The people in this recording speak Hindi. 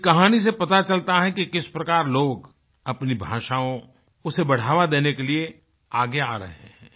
इस कहानी से पता चलता है कि किस प्रकार लोग अपनी भाषाओँ उसे बढ़ावा देने के लिए आगे आ रहें है